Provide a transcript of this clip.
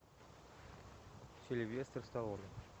сильвестр сталлоне